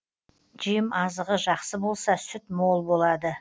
жем азығы жақсы болса сүт мол болады